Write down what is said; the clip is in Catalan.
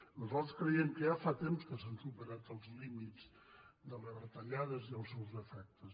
nosaltres creiem que ja fa temps que s’han superat els límits de les retallades i els seus efectes